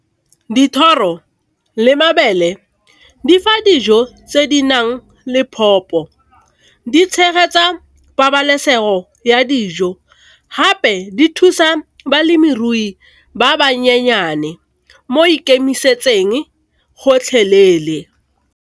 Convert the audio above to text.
Dithoro le mabele difa dijo tse di nang le, di tshegetsa pabalesego ya dijo, gape di thusa balemirui ba bannyenyane mo ikemisetseng gotlhelele.